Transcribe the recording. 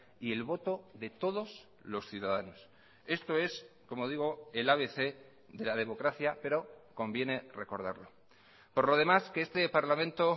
y el voto de todos los ciudadanos esto es como digo el abc de la democracia pero conviene recordarlo por lo demás que este parlamento